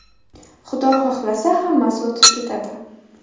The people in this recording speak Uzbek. Xudo xohlasa, hammasi o‘tib ketadi.